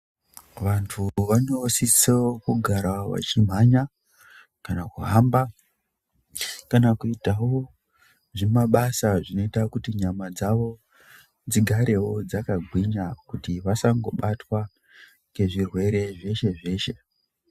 Vantu vanosiso kugara vachimhanya kana kuhamba kana kuitawo zvimabasa zvinoita kuti nyama dzavo dzigarewo dzakagwinya kuti vasangobatwa ngezvirwere zveshe-zveshe.